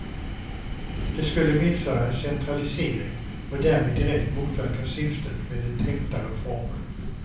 Det skulle medföra en centralisering och därmed direkt motverka syftet med den tänkta reformen.